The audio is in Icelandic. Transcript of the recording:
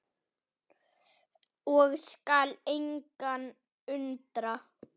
og skal engan undra.